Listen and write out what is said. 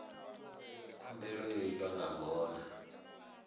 khumbelo yo itwa nga ngona